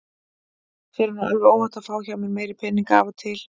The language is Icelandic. Þér er nú alveg óhætt að fá hjá mér meiri peninga af og til.